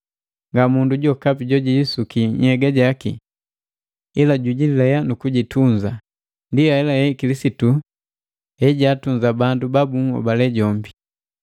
Ngamundu jokapi jojijisuki nhyega jaki; ila jujilea nukujitunza. Ndi ahelahe Kilisitu hejaatunza bandu ba bunhobali jombi,